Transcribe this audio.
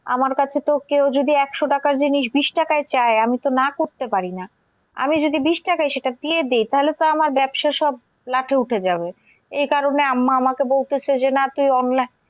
আমার কাছে তো কেও যদি একশো টাকার জিনিস বিশ টাকায় চায়, আমি তো না করতে পারি না। আমি যদি বিশ টাকায় সেটা দিয়ে দি, তাহলে তো আমার ব্যবসা সব লাঠে উঠে যাবে। এই কারণে আম্মা আমাকে বলতেসে যে না তুই